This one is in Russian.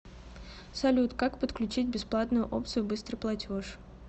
салют как подключить бесплатную опцию быстрый платеж